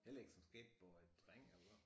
Heller ikke som skateboy dreng eller hvad